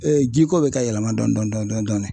jiko bɛ ka yɛlɛma dɔɔni dɔɔni dɔɔni dɔɔni